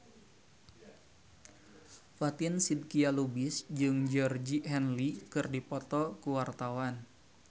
Fatin Shidqia Lubis jeung Georgie Henley keur dipoto ku wartawan